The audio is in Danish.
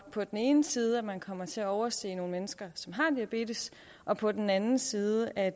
er på den ene side at man kommer til at overse nogle mennesker som har diabetes og på den anden side at